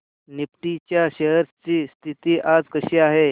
Nifty च्या shares ची स्थिती आज कशी आहे